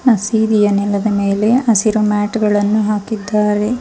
ಹಸಿರಿನೆಲ್ಲದ ಮೇಲೆ ಹಸಿರಿನ ಮ್ಯಾಟ್ ಗಳನ್ನು ಹಾಕಿದ್ದಾರೆ.